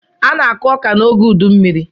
A na-akụ ọka n'oge ụdụ mmiri.